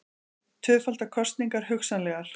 Tvöfaldar kosningar hugsanlegar